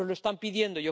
Nos lo están pidiendo.